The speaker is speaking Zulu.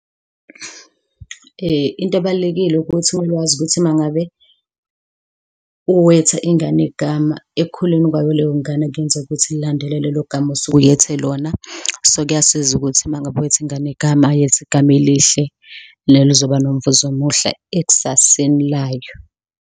Into ebalulekile ukuthi mele wazi ukuthi ma ngabe uweta ingane igama, ekukhuleni kwayo leyo ngane kungenzeka ukuthi ililandele lelo gama osuke uyethe lona. So, kuyasiza ukuthi ma ngabe wetha ingane igama, yetha igama elihle, nelizoba nomvuzo umuhle ekusaseni layo.